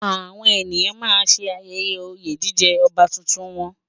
Àwọn ènìyàn náà ṣe ayẹyẹ oyè jíjẹ ọba tuntun náà